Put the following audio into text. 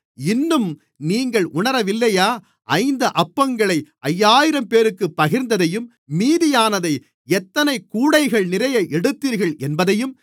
இன்னும் நீங்கள் உணரவில்லையா ஐந்து அப்பங்களை ஐயாயிரம்பேருக்குப் பகிர்ந்ததையும் மீதியானதை எத்தனைக் கூடைகள்நிறைய எடுத்தீர்கள் என்பதையும்